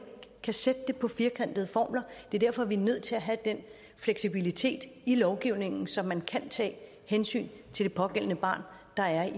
kan sætte det på firkantede formler det er derfor vi er nødt til at have den fleksibilitet i lovgivningen så man kan tage hensyn til det pågældende barn der